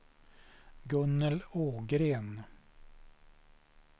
Gunnel Ågren